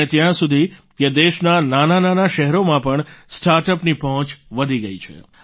અને ત્યાં સુધી કે દેશના નાનાંનાનાં શહેરોમાં પણ સ્ટાર્ટઅપની પહોંચ વધી ગઈ છે